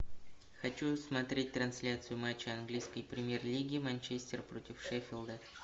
хочу смотреть трансляцию матча английской премьер лиги манчестер против шеффилда